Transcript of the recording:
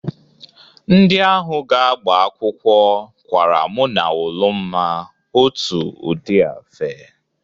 Ndị ahụ ga-agba akwụkwọ kwara mʉ na Ụlụmma otu ụdị afe.